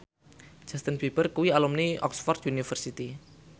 Justin Beiber kuwi alumni Oxford university